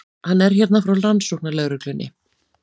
Hann er hérna frá rannsóknarlögreglunni.